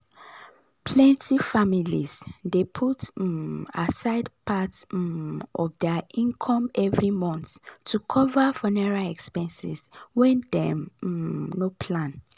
plenty families dey put um aside part um of dir income every month to cover funeral expenses wen dem um no plan.